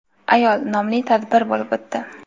ayol nomli tadbir bo‘lib o‘tdi.